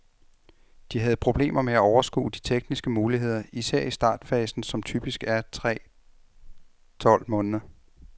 De havde problemer med at overskue de tekniske muligheder, især i startfasen, som typisk er tre tolv måneder.